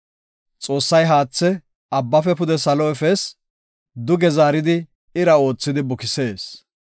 “Xoossay haathe abbafe pude salo efees; duge zaaridi ira oothidi bukisees.